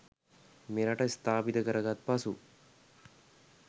මෙරට ස්ථාපිත කරගත් පසු